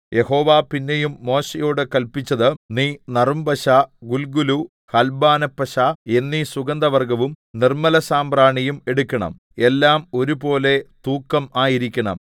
യഹോവ പിന്നെയും മോശെയോട് കല്പിച്ചത് നീ നറുംപശ ഗുല്ഗുലു ഹൽബാനപ്പശ എന്നീ സുഗന്ധവർഗ്ഗവും നിർമ്മലസാമ്പ്രാണിയും എടുക്കണം എല്ലാം ഒരുപോലെ തൂക്കം ആയിരിക്കണം